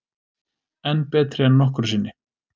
Enn betri en nokkru sinni